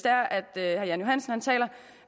herre jan johansen taler